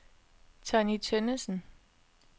Tonny Tønnesen